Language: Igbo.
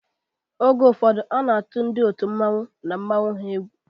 Oge ụfọdụ a na-atụ ndị otu mmanwu na mmanwu ha egwu.